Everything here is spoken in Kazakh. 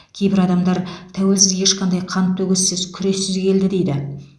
кейбір адамдар тәуелсіздік ешқандай қантөгіссіз күрессіз келді дейді